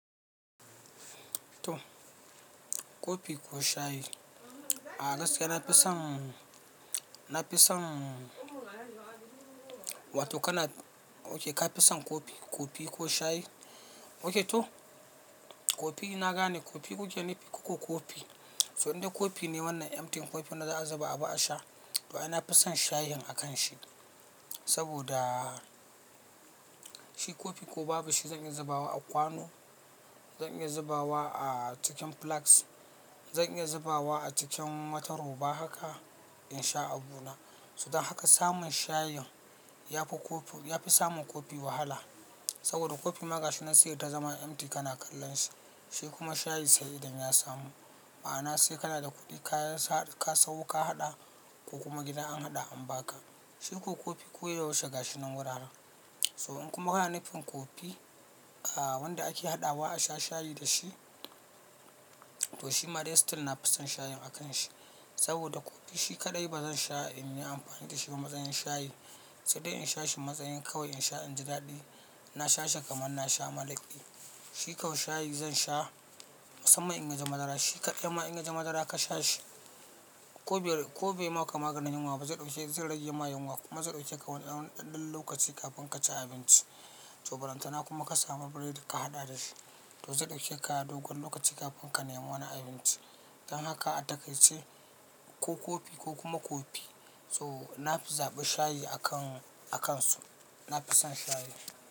To, kofi ko shayi? A gaskiya na fi son, na fi son wato kana, okay ka fi son kofi, coffee ko shayi? Okay to, kofi ina gane kofi kuje ni fi ku ko kofi. So in dai kofi ne wannan empty kofi na za a zuba abu a sha, to ina fison shayin a kan shi. Saboda shi kofi ko babu shi zan iya zubawa a kwano, zan iya zubawa a cikin flask, zan iya zubawa a cikin matar roba haka in sha abu na. So dan haka samun shayin ya fi kofi, ya fi samun kofi wahala. Saboda kofi ma gashinan sai ya ta zama empty kana kallon shi, shi kuma shayi sai idan ya samu. Ma'ana sai kana da kuɗi ka sau ka haɗa ko kuma gida an haɗa an ba ka. Shi ko kofi koyaushe gashinan wurare. So in kuma ka na nufin kofi, wanda ake haɗawa a sha shayi da shi, to shi ma dai still na fi son shayin a kan shi. Saboda kofi shi kaɗai ba zan sha in yi amfani da shi ba matsayin shayi. Sai dai in sha shi matsayin kawai in sha inji daɗi, na sha shi kamar na sha malaƙi. Shi ko shayi zan sha, musamman in ya ji madara. Shi kaɗai ma in ya ji madara ka sha shi, ko bai ma ka maganin yunwa ba zai ɗauke zai rage ma yunwa. Kuma zai ɗauke ka wani ɗanɗan lokaci kafin ka ci abinci. To baranta na kuma ka samu biredi ka haɗa da shi. To zai ɗauke ka dogon lokaci kafin ka nema wani abinci. Dan haka a takaice ko kofi ko kuma kofi. To na fi zaɓi shayi a kan, a kan su. Na fi son shayi.